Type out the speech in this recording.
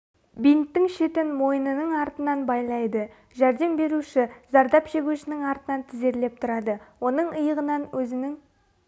бинттің шетін мойнының артынан байлайды жәрдем беруші зардап шегушінің артынан тізерлеп тұрады оның иығынан өзінің